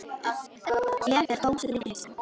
Ég er tóm og skrýtin í hausnum.